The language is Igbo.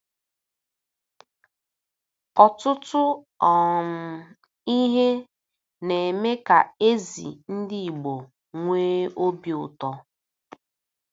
Ọtụtụ um ihe na-eme ka ezi ndị Igbo nwee obi ụtọ.